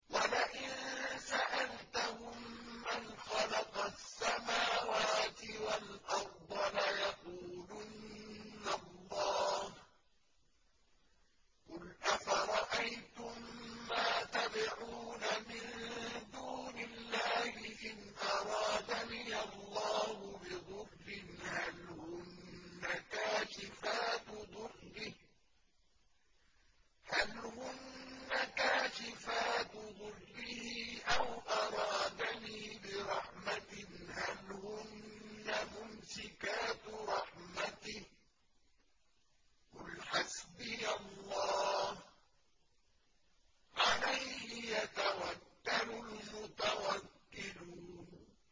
وَلَئِن سَأَلْتَهُم مَّنْ خَلَقَ السَّمَاوَاتِ وَالْأَرْضَ لَيَقُولُنَّ اللَّهُ ۚ قُلْ أَفَرَأَيْتُم مَّا تَدْعُونَ مِن دُونِ اللَّهِ إِنْ أَرَادَنِيَ اللَّهُ بِضُرٍّ هَلْ هُنَّ كَاشِفَاتُ ضُرِّهِ أَوْ أَرَادَنِي بِرَحْمَةٍ هَلْ هُنَّ مُمْسِكَاتُ رَحْمَتِهِ ۚ قُلْ حَسْبِيَ اللَّهُ ۖ عَلَيْهِ يَتَوَكَّلُ الْمُتَوَكِّلُونَ